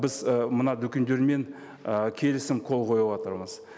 біз ы мына дүкендермен ы келісім қол қойыватырмыз